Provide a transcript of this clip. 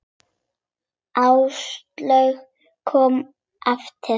Áslaug kom eftir hádegi.